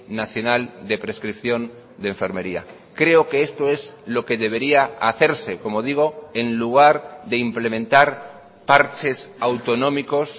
nacional de prescripción de enfermería creo que esto es lo que debería hacerse como digo en lugar de implementar parches autonómicos